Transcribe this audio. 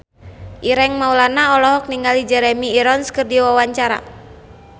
Ireng Maulana olohok ningali Jeremy Irons keur diwawancara